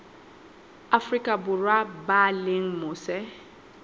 afrika borwa ba leng mose